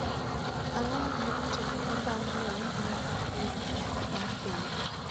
Ang'o ma ne otimore bang ' lweny mar ariyo mar piny